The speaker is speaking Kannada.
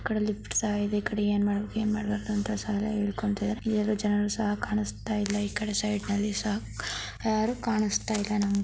ಈ ಕಡೆ ಲಿಫ್ಟ್ ಸಹ ಇದೆ ಈ ಕಡೆ ಏನ್ ಮಾಡ್ಬೇಕ್ ಏನ್ ಮಾಡಬೇಕು ಅಂತ ಸಾಲ ಹೇಳಕೊಂತಿದ್ದರೆ. ಯಾರು ಜನರು ಸಹ ಕಾಣಸ್ತಾ ಇಲ್ಲ ಈ ಕಡೆ ಸೈಡ ನಲ್ಲಿ ಸಹ ಯಾರು ಕಾಣಸ್ತಾ ಇಲ್ಲ. ನಮ್--